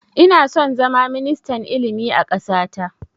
Ina son zama ministan ilimi a ƙasa ta